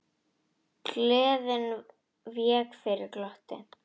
Gleðin vék fyrir glotti.